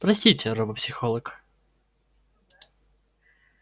простите робопсихолог